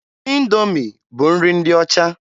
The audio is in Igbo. Indoomi bụ nri ndị ọcha.